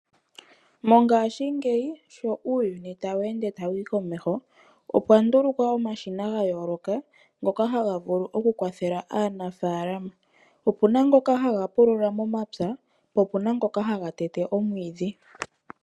Mongaashingeyi sho uuyuni tawu ende tawu yi komeho opwa ndulukwa omashina gayooloka ngoka taga vulu okukwathela aanafalama. Opena ngoka haga pulula momapya po opena ngoka haga tete omwiidhi.